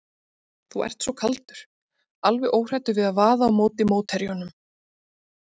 Þú ert svo kaldur, alveg óhræddur við að vaða á móti mótherjunum.